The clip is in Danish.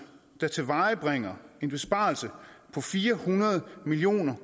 der tilvejebringer en besparelse på fire hundrede million